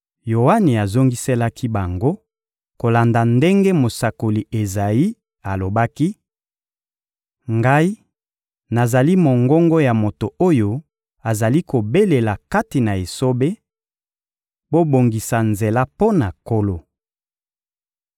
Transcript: Yoane azongiselaki bango kolanda ndenge mosakoli Ezayi alobaki: — Ngai, nazali mongongo ya moto oyo azali kobelela kati na esobe: «Bobongisa nzela mpo na Nkolo!»